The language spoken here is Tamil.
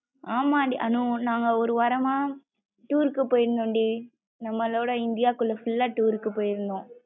அமன்டி அனு நாங்க ஒரு வாரம்மா tour க்கு போயிருந்தம்டி நம்மலோட இந்தியாகுள்ள full லா tour போயிருந்தோம்.